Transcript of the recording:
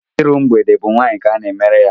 Iru mgbede bụ ụmụ nwaanyị ka ana-emere ya.